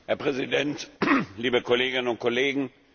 Herr Präsident, liebe Kolleginnen und Kollegen!